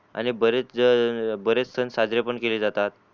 आणि बरेच बरेच सन सादरे पण केले जातात.